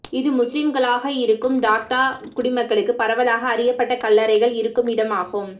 இது முஸ்லிம்களாக இருக்கும் டாக்கா குடிமக்களுக்கு பரவலாக அறியப்பட்ட கல்லறைகள் இருக்கும் இடம் ஆகும்